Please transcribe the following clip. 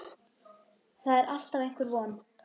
Það er alltaf einhver von.